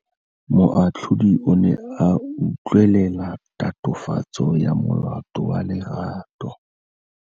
Moatlhodi o ne a utlwelela tatofatsô ya molato wa Lerato.